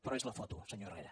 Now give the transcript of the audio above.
però és la foto senyor herrera